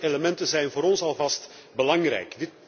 Volgende elementen zijn voor ons alvast belangrijk.